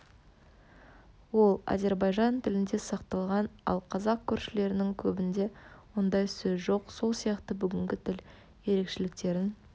ол азербайжан тілінде сақталған ал қазақ көршілерінің көбінде ондай сөз жоқ сол сияқты бүгінгі тіл ерекшеліктерін